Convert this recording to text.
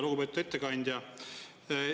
Lugupeetud ettekandja!